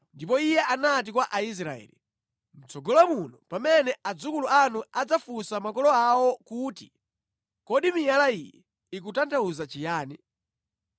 Ndipo iye anati kwa Aisraeli, “Mʼtsogolo muno pamene adzukulu anu adzafunsa makolo awo kuti, ‘Kodi miyala iyi ikutanthauza chiyani?’